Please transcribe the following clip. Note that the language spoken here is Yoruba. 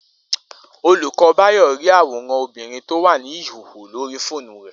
Olùkó̩ Báyò̩ rí àwòràn obìnrin tó wà ní ìhòhò lórí fóònù rè̩